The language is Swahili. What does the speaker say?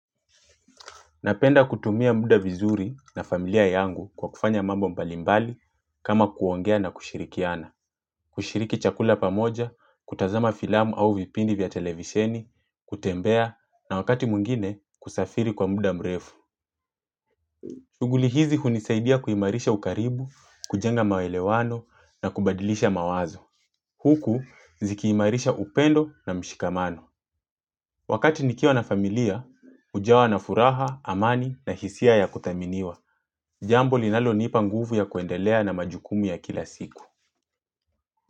Napenda kutumia muda vizuri na familia yangu kwa kufanya mambo mbalimbali kama kuongea na kushirikiana. Kushiriki chakula pamoja, kutazama filamu au vipindi vya televisheni, kutembea na wakati mwingine kusafiri kwa mbuda mrefu. Shughuli hizi hunisaidia kuimarisha ukaribu, kujenga maelewano na kubadilisha mawazo. Huku zikiimarisha upendo na mshikamano. Wakati nikiwa familia, ujawa na furaha, amani na hisia ya kuthaminiwa. Jambo linalo nipa nguvu ya kuendelea na majukumu ya kila siku.